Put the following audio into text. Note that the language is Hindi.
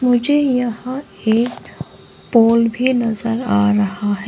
मुझे यहां एक पोल भी नजर आ रहा है।